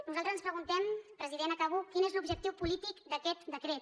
nosaltres ens preguntem president acabo quin és l’objectiu polític d’aquest decret